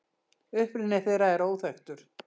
Uppruni þeirra er óþekktur.